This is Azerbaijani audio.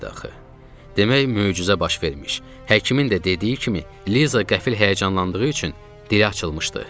Demək möcüzə baş vermiş, həkimin də dediyi kimi Liza qəfil həyəcanlandığı üçün dili açılmışdı.